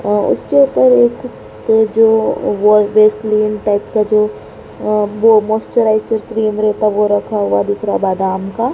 अह उसके ऊपर एक ये जो वैसलीन टाइप का जो वो मॉइस्चराइजर क्रीम रेहता है वो रखा हुआ दिख रहा बादाम का।